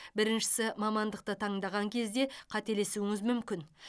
біріншісі мамандықты таңдаған кезде қателесуіңіз мүмкін